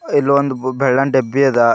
ಇಲ್ಲಿ ಒಂದ ಬೆಳ್ಳನ ದೇಬ್ಬಿ ಅದ.